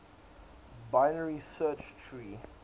binary search tree